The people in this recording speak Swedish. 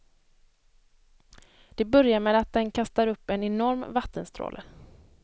Det börjar med att den kastar upp en enorm vattenstråle.